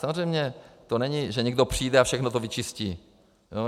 Samozřejmě to není, že někdo přijde a všechno to vyčistí.